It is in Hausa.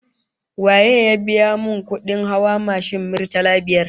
Waye ya biya min kudin hawa mashin, murtala biyar?